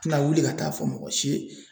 Ti na wuli ka taa fɔ mɔgɔ si ye